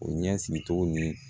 O ɲɛ sigicogo nii